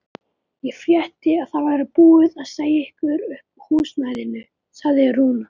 Ég frétti að það væri búið að segja ykkur upp húsnæðinu, sagði Rúna.